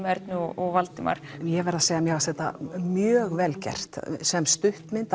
Ernu og Valdimar ég verð að segja að mér fannst þetta mjög vel gert sem stuttmynd